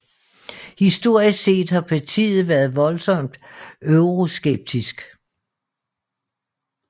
Historisk set har partiet været voldsomt Euroskeptisk